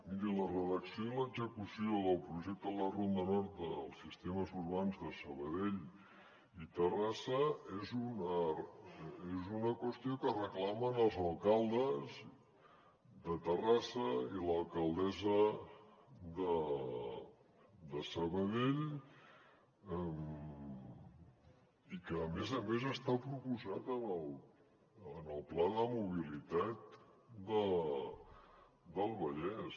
miri la redacció i l’execució del projecte de la ronda nord dels sistemes urbans de sabadell i terrassa és una qüestió que reclamen els alcaldes de terrassa i l’alcaldessa de sabadell i que a més a més està proposat en el pla de mobilitat del vallès